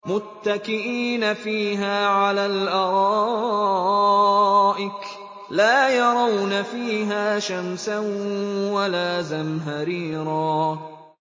مُّتَّكِئِينَ فِيهَا عَلَى الْأَرَائِكِ ۖ لَا يَرَوْنَ فِيهَا شَمْسًا وَلَا زَمْهَرِيرًا